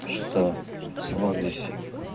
что слов здесь